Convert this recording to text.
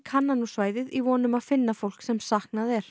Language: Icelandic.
kanna nú svæðið í von um að finna fólk sem saknað er